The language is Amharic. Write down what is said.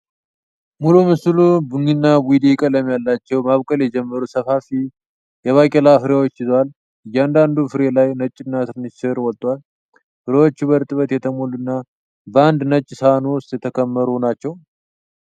ሙሉ ምስሉ ቡኒና ቡይዴ ቀለም ያላቸው፣ ማብቀል የጀመሩ ሰፋፊ የባቄላ ፍሬዎችን ይዟል። ከእያንዳንዱ ፍሬ ላይ ነጭና ትንሽ ሥር ወጥቷል፤ ፍሬዎቹ በእርጥበት የተሞሉና በአንድ ነጭ ሳህን ውስጥ የተከመሩ ናቸው።